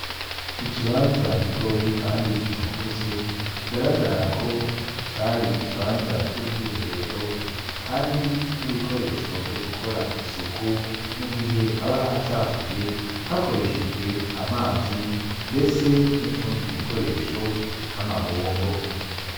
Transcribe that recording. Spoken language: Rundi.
Ikibanza gitoyi kandi kitagutse kigaragara ko cari ikibanza c'ubwiherero kandi n'ibikoresho vyo gukora isuku mu gihe haba hacafuye hakoreshejwe amazi ndetse n'utundi dukoresho nk'amabombo.